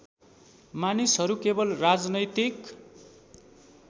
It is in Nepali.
मानिसहरू केवल राजनैतिक